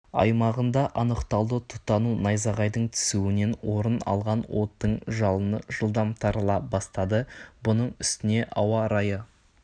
аймағында анықталды тұтану найзағайдың түсуінен орын алған оттың жалыны жылдам тарала бастады бұның үстіне ауа-райы